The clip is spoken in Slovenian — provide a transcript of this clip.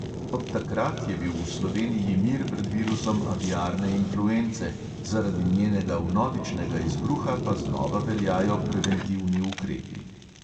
Od takrat je bil v sloveniji mir pred virusom aviarne influence, zaradi njenega vnovičnega izbruha pa znova veljajo preventivni ukrepi.